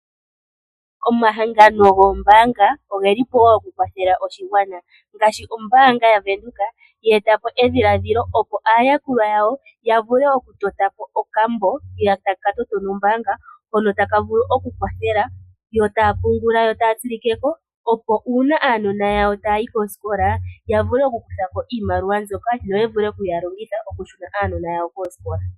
Omahangano goombaanga oge lile po wo okukwathela oshigwana. Ombaanga yaVenduka oye eta po edhiladhilo, opo aayakulwa yawo ya vule okutota po okambo nombaanga taka vulu okukwathela yo taya pungula yo taya tsilike ko, opo uuna aanona yawo taya yi koosikola ya vule okukutha ko iimaliwa yo ya vule okuyi longitha okushuna aanona yawo kosikola.